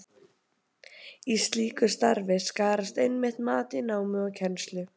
Í slíku starfi skarast einmitt mat á námi og kennslu.